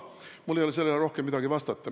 Mul ei ole sellele rohkem midagi vastata.